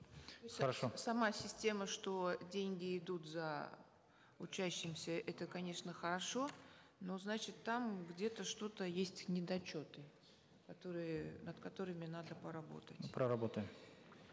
хорошо сама система что деньги идут за учащимся это конечно хорошо но значит там где то что то есть недочеты которые над которыми надо поработать проработаем